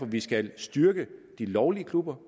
vi skal styrke de lovlige klubber